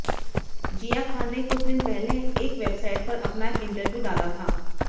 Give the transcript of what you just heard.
जिया खान ने कुछ दिन पहले एक वेबसाइट पर अपना एक इंटरव्यू डाला था